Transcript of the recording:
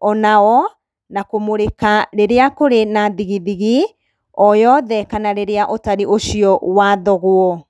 onao, na kũmũrĩka rĩrĩa kũrĩ na thigithigi o yothe kana rĩrĩa ũtari ũcio wathogwo.